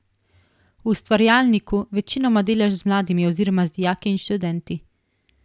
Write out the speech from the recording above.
V Ustvarjalniku večinoma delaš z mladimi oziroma z dijaki in študenti.